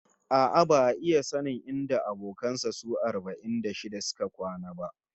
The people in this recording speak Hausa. A'a, ba'a iya sanin inda abokan sa su arba'in da shida suka kwana ba